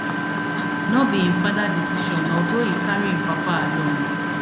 no be im father decision although e carry im papa along